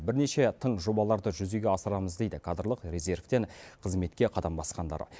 бірнеше тың жобаларды жүзеге асырамыз дейді кадрлық резервтен қызметке қадам басқандар